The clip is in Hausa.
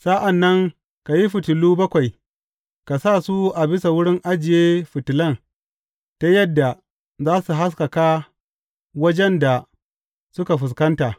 Sa’an nan ka yi fitilu bakwai, ka sa su a bisa wurin ajiye fitilan ta yadda za su haskaka wajen da suka fuskanta.